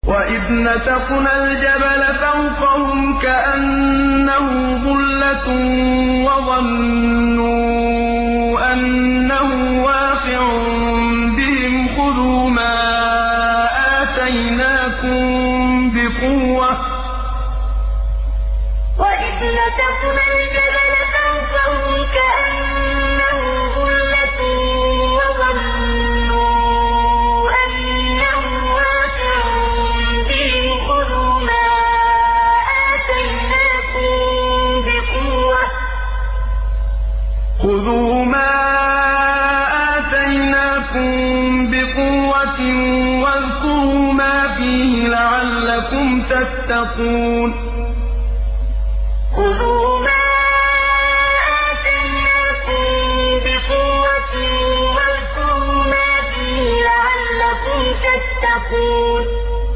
۞ وَإِذْ نَتَقْنَا الْجَبَلَ فَوْقَهُمْ كَأَنَّهُ ظُلَّةٌ وَظَنُّوا أَنَّهُ وَاقِعٌ بِهِمْ خُذُوا مَا آتَيْنَاكُم بِقُوَّةٍ وَاذْكُرُوا مَا فِيهِ لَعَلَّكُمْ تَتَّقُونَ ۞ وَإِذْ نَتَقْنَا الْجَبَلَ فَوْقَهُمْ كَأَنَّهُ ظُلَّةٌ وَظَنُّوا أَنَّهُ وَاقِعٌ بِهِمْ خُذُوا مَا آتَيْنَاكُم بِقُوَّةٍ وَاذْكُرُوا مَا فِيهِ لَعَلَّكُمْ تَتَّقُونَ